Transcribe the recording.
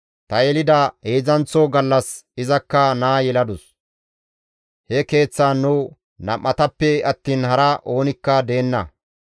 Ta yelida heedzdzanththo gallas izakka naa yeladus; he keeththan nu nam7atappe attiin haray oonikka deenna.